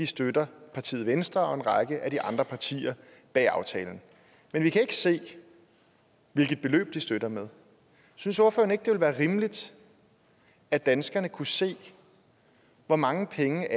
støtter partiet venstre og en række af de andre partier bag aftalen men vi kan ikke se hvilke beløb de støtter med synes ordføreren ikke det ville være rimeligt at danskerne kunne se hvor mange penge